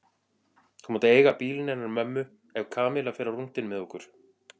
Þú mátt eiga bílinn hennar mömmu ef Kamilla fer á rúntinn með okkur